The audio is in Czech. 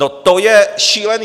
No to je šílené.